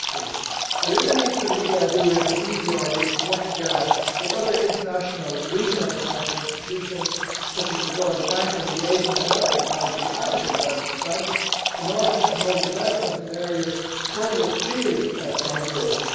Lastly, there is a need for the EIB and the EBRD to work together with other international and regional financial institutions such as the World Bank, the Asian Development Bank and the African Development Bank in order to promote development in areas further afield from Europe.